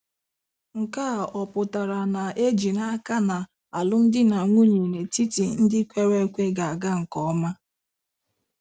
Nke a ọ̀ pụtara na e ji n'aka na alụmdi na nwunye n'etiti ndị kwere ekwe ga-aga nke ọma?